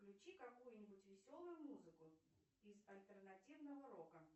включи какую нибудь веселую музыку из альтернативного рока